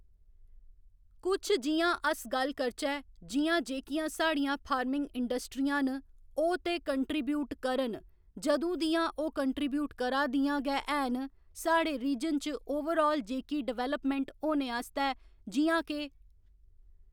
कुछ जियां अस गल्ल करचै जि'यां जेह्कियां साढ़ियां फार्मिंग इंडस्ट्रियां न ओह् ते कंट्रीब्यूट करन जदूं दियां ओह् कंट्रीब्यूट करा दियां गै है'न साढ़े रीजन च ओवरआल जेह्की डेवल्पमेंट होने आस्तै जि'यां के